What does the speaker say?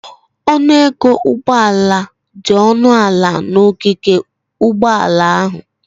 Ọnụ ego ụgbọala dị ọnụ ala n'ogige ụgbọala ahụ.